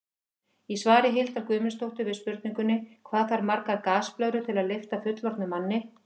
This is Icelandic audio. Í svari Hildar Guðmundsdóttur við spurningunni Hvað þarf margar gasblöðrur til að lyfta fullorðnum manni?